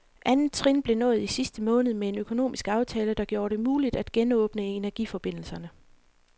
Andet trin blev nået i sidste måned med en økonomisk aftale, der gjorde det muligt at genåbne energiforbindelserne.